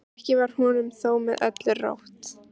Ekki var honum þó með öllu rótt.